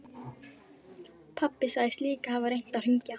Pabbi sagðist líka hafa reynt að hringja.